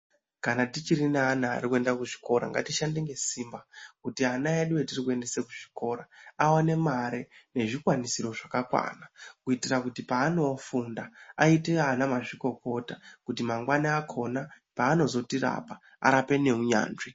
Kana tichiri neana edu achirinkuenda kuzvikora ngatishande ngesimba Kuti ana edu atiri kuendese kuzvikora aone mare yezvikwanisiro zvakakwana kuitira kuti paanofunda aite ana mazvikokota kuti mangwani wakhona paanozotirapa arape neunyanzvi.